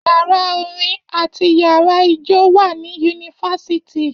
Yàrá orin àti yàrá ijó wà ní yunifásitì.